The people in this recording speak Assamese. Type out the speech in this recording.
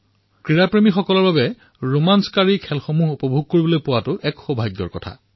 ক্ৰীড়াপ্ৰেমীসকলৰ বাবে ৰোমাঞ্চক খেল উপভোগ কৰাটো এক সুন্দৰ অৱকাশ